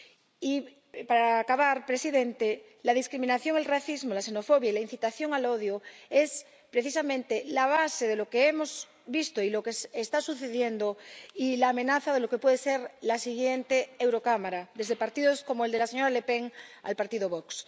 Y para acabar, presidente, la discriminación, el racismo, la xenofobia y la incitación al odio son precisamente la base de lo que hemos visto y lo que está sucediendo, y la amenaza de lo que puede ser la siguiente Eurocámara, desde partidos como el de la señora Le Pen al partido Vox.